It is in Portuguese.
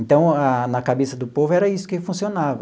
Então, na na cabeça do povo era isso que funcionava.